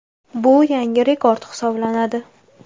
Bu yangi rekord hisoblanadi.